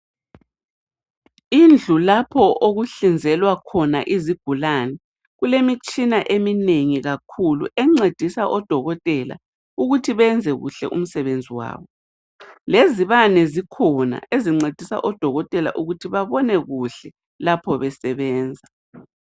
Indlu lapho okuhlinzelwa khona izigulane. Kulemitshina eminengi kakhulu encedisa odokotela ukuthi benze kuhle umsebenzi wabo. Lezibane zikhona ezincedisa odokotela ukuthi babone kuhle lapho besebenza.